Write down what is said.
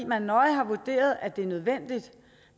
man nøje har vurderet at det er nødvendigt